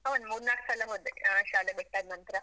ಹೌದು, ಮೂರ್ನಾಕ್ ಸಲ ಹೋದೆ, ಆ ಶಾಲೆ ಬಿಟ್ಟಾದ್ನಂತ್ರ.